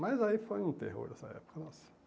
Mas aí foi um terror nessa época nossa.